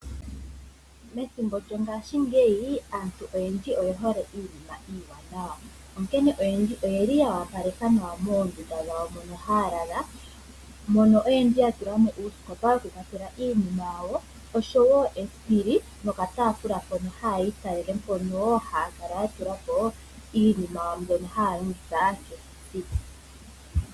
Methimbo lyongashingeyi aantu oyendji oye hole iinima iiwanawa onkene oyendji oyeli ya wapaleka moondunda mono haya lala. Mono oyendji ya tula mo uusikopa wokukwatela iinima yawo, oshowo esipili nokatafula mpono haya italele na mpono haya kala ya tula po iinima yawo mbyono haya longitha kehe esiku.